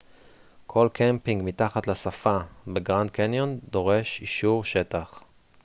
כל קמפינג מתחת לשפה בגרנד קניון דורש אישור שטח